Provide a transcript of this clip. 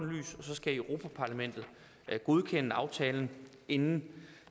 så skal europa parlamentet godkende aftalen inden